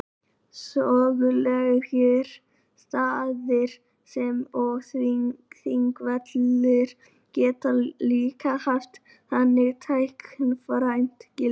Sögulegir staðir eins og Þingvellir geta líka haft þannig táknrænt gildi.